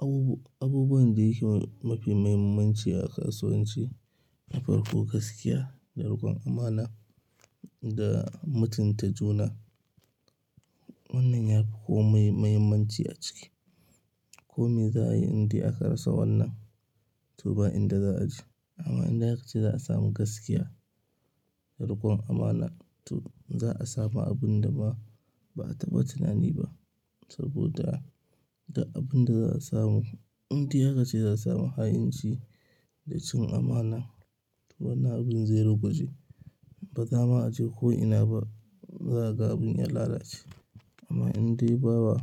Abubu-abubuwan da yake mafi muhimmanci a kasuwanci, farƙo gaskiya da riƙon amana da mutunta juna. Wannan ya fi komai muhimmanci a ciki. Kome za a yi indai a ka rasa wannan, toh ba inda za a ji. Amma inda ake ce za a samu gaskiya da riƙon amana, toh za a samu abun da ba a taba tunani ba. Saboda da abin da za a samu, indai a ce za a samu ha'inci da cin amana, to wannan abin zero gwaji. Ba za ma a je ko ina ba, za a ga abin ya lalace. Amma indai bawa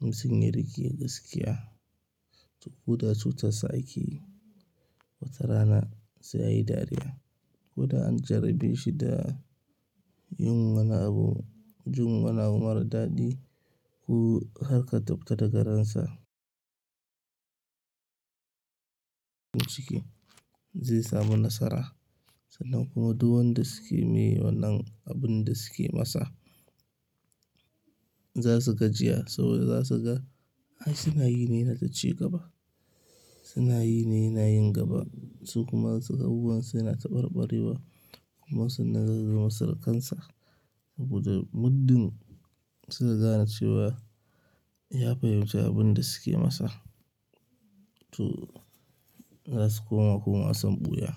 mutum ya riƙe gaskiya, to koda cutar sa ake watarana sai yayi dariya. Koda an jarabashi da yin wani abu, jun wani abu mara daɗi ko harka tsafta da garansa. Ciki zai samu nasara sannan kuma duk wanda suke me wannan abin da suke masa za su gajiya saboda za su ga ai suna yi ne na daga ci gaba. Suna yi yana yin gaba su kuma abubuwansu yana taɓarɓarewa kuma sannan zan zama sarƙansa saboda muddin su kaga cewa ya fahimci abin da suke masa. To za su koma kuma wasan ɓuya.